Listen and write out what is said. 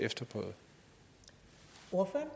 må